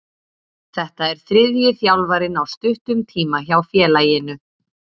Þetta er þriðji þjálfarinn á stuttum tíma hjá félaginu.